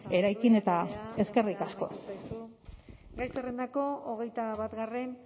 eraikin eta eskerrik asko eskerrik asko sagardui andrea denbora amaitu zaizu gai zerrendako hogeita batgarren